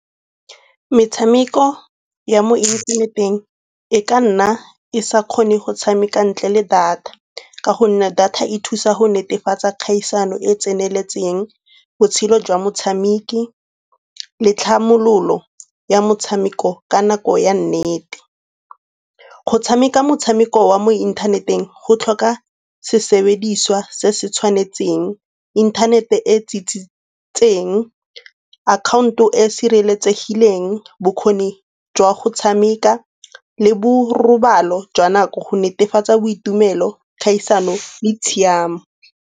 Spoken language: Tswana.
Metshameko ya mo inthaneteng e ka nna e sa kgone go tshameka ntle le data ka gonne data e thusa go netefatsa kgaisano e tseneletseng, botshelo jwa motshameki le tlhamololo ya motshameko ka nako ya nnete. Go tshameka motshameko wa mo inthaneteng go tlhoka sesebediswa se se tshwanetseng, inthanete e tsitsitseng, akhaonto e e sireletsegileng, bokgoni jwa go tshameka le borobalo jwa nako go netefatsa boitumelo, kgaisano le tshiamo.